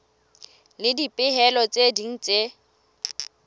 le dipehelo tse ding tse